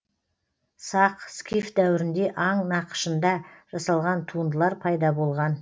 сақ скиф дәуірінде аң нақышында жасалған туындылар пайда болған